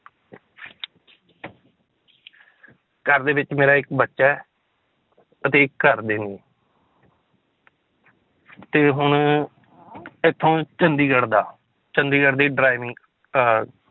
ਘਰ ਦੇ ਵਿੱਚ ਮੇਰਾ ਇੱਕ ਬੱਚਾ ਹੈ ਅਤੇ ਇੱਕ ਘਰਦੇ ਨੇ ਤੇ ਹੁਣ ਇੱਥੋਂ ਚੰਡੀਗੜ੍ਹ ਦਾ ਚੰਡੀਗੜ੍ਹ ਦੀ driving ਅਹ